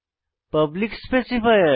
public specifier